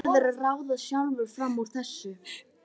Þú verður að ráða sjálfur fram úr þessu.